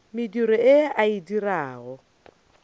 mediro ye a e dirago